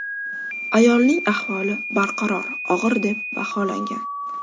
Ayolning ahvoli barqaror og‘ir deb baholangan.